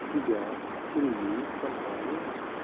себя семью компанию